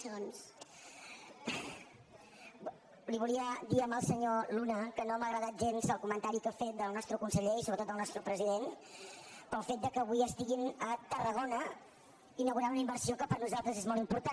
li volia dir al senyor luna que no m’ha agradat gens el comentari que ha fet del nostre conseller i sobretot del nostre president pel fet que avui estiguin a tarragona inaugurant una inversió que per nosaltres és molt important